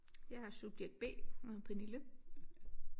Jeg er subjekt B og hedder Pernille